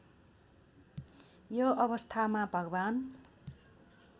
यो अवस्थामा भगवान्